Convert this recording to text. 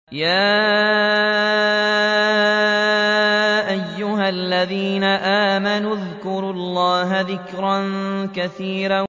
يَا أَيُّهَا الَّذِينَ آمَنُوا اذْكُرُوا اللَّهَ ذِكْرًا كَثِيرًا